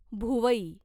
भुवई